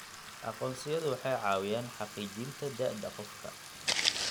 Aqoonsiyadu waxay caawiyaan xaqiijinta da'da qofka.